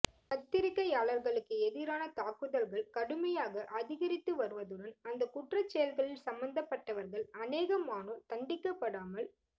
பத்திரிகையாளர்களுக்கு எதிரான தாக்குதல்கள் கடுமையாக அதிகரித்து வருவதுடன் அந்த குற்றச்செயல்களில் சம்பந்தப்பட்டவர்கள் அநேகமானோர் தண்டிக்கப்படாமல்